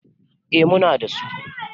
eh Muna da su